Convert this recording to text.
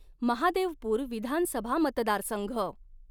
महादेवपुर विधानसभा मतदारसंघ